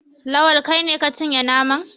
Lawal, kai ne ka cinye naman?